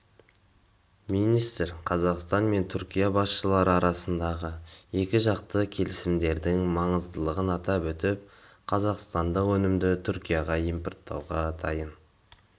министр қазақстан мен түркия басшылары арасындағы екіжақты келісімдердің маңыздылығын атап өтіп қазақстандық өнімді түркияға импорттауға дайын